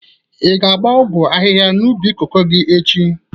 Ị ga-agba ọgwọ ahịha n'ubi koko gi echi?